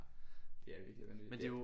Det er virkelig vanvittigt